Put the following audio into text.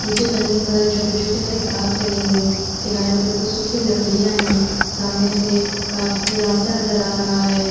नीचे जमीन पर छोटे-छोटे हरे घास लगे हुए हैं। किनारे पर कुछ सुखी लकड़ियां है। सामने से काफी रास्ता नजर आ रहा है।